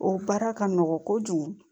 O baara ka nɔgɔn kojugu